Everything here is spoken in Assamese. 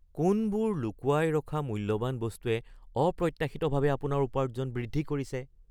কোনবোৰ লুকুৱাই ৰখা মূল্যৱান বস্তুৱে অপ্ৰত্যাশিতভাৱে আপোনাৰ উপাৰ্জন বৃদ্ধি কৰিছে?